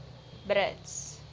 brits